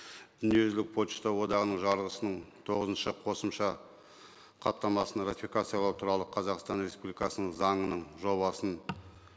дүниежүзілік пошта одағының жарғысының тоғызыншы қосымша хаттамасын ратификациялау туралы қазақстан республикасының заңының жобасын